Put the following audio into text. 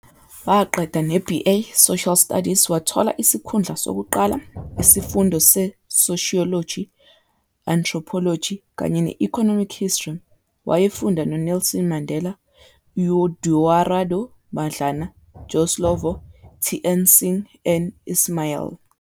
Waqeda ne BA Social studies wathola isikhundla sokuqala isifundo seSocialogy, Anthropology kanye ne Economic histroy. Wayefunda noNelson Mandela, Eduardo Mandlana, Joe Slovo, TN Singh and Ismail.